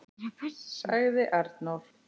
sagði Arnór.